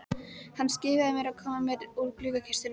Hann skipaði mér að koma mér úr gluggakistunni.